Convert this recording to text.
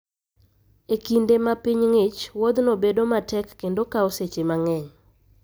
E kinde ma piny ng'ich, wuodhno bedo matek kendo kawo seche mang'eny.